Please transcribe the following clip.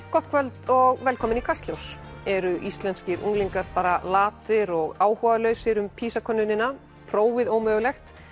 gott kvöld og velkomin í Kastljós eru íslenskir unglingar bara latir og áhugalausir um PISA könnunina prófið ómögulegt